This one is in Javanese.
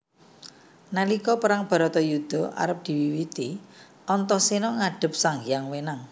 Nalika Perang Baratayudha arep diwiwiti Antaséna ngadhep Sanghyang Wenang